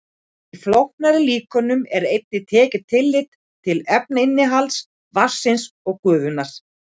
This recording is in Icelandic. Í flóknari líkönum er einnig tekið tillit til efnainnihalds vatnsins og gufunnar.